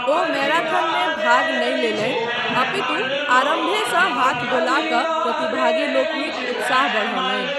ओ मैराथनमे भाग नहि लेलनि अपितु आरम्भेसँ हाथ डोला कऽ प्रतिभागी लोकनिक उत्साह बढ़ौलनि।